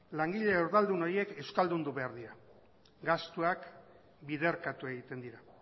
langile erraldoi horiek euskaldundu behar dira ere gastuak biderkatu egiten dira